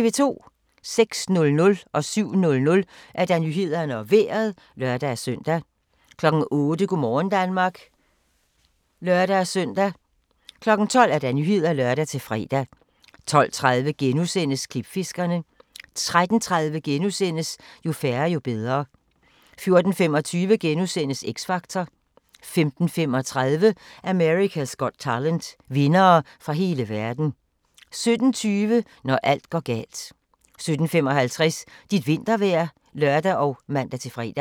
06:00: Nyhederne og Vejret (lør-søn) 07:00: Nyhederne og Vejret (lør-søn) 08:00: Go' morgen Danmark (lør-søn) 12:00: Nyhederne (lør-fre) 12:30: Klipfiskerne * 13:30: Jo færre, jo bedre * 14:25: X Factor * 15:35: America's Got Talent - vindere fra hele verden 17:20: Når alt går galt 17:55: Dit vintervejr (lør og man-fre)